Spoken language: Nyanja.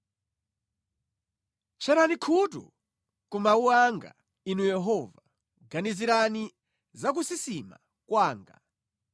Tcherani khutu ku mawu anga, Inu Yehova, ganizirani za kusisima kwanga